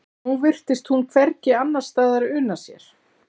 Nú virtist hún hvergi annarsstaðar una sér.